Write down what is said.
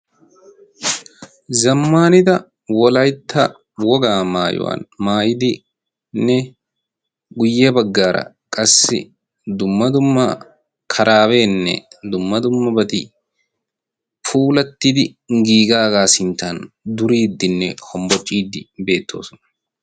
Zammanida wolaytta wogaa maayuwan maayidinne guyye baggaara qassi dumma dumma karaabeenne dumma dumma batii puulattidi giigaagaa sinttan duriiddinne hombbocciiddi beettoosona.